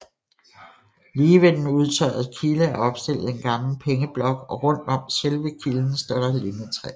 Lige ved den udtørrede kilde er opstillet en gammel pengeblok og rundt om selve kilden står lindetræer